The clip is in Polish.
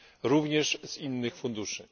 również z innych funduszy.